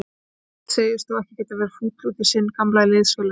Hafsteinn segist þó ekki getað verið fúll út í sinn gamla liðsfélaga.